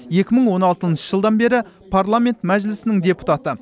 екі мың он алтыншы жылдан бері парламент мәжілісінің депутаты